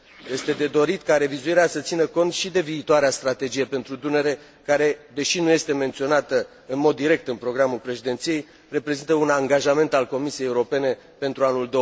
Este de dorit ca revizuirea să țină cont și de viitoarea strategie pentru Dunăre care, deși nu este menționată în mod direct în programul președinției, reprezintă un angajament al Comisiei Europene pentru anul